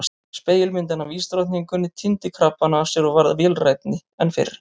Spegilmyndin af ísdrottninguni týndi krabbana af sér og varð vélrænni en fyrr.